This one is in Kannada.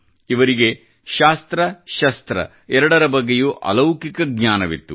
ಇವರಿಗೆ ಶಾಸ್ತ್ರ ಶಸ್ತ್ರ ಎರಡರ ಬಗ್ಗೆಯೂ ಅಲೌಕಿಕ ಜ್ನಾನವಿತ್ತು